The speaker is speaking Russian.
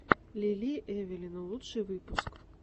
лили эвелина лучший выпуск